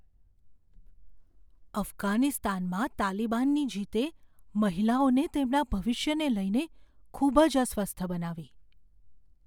અફઘાનિસ્તાનમાં તાલિબાનની જીતે મહિલાઓને તેમના ભવિષ્યને લઈને ખૂબ જ અસ્વસ્થ બનાવી.